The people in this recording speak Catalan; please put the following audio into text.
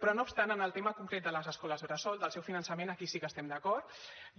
però no obstant en el tema concret de les escoles bressol del seu finançament aquí sí que estem d’acord